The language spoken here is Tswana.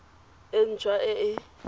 e nt hwa e e